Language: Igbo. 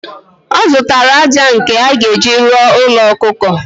Ọ zụtara ájá nke a ga-eji rụọ ųlo ọkụkọ.